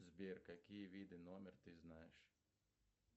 сбер какие виды номер ты знаешь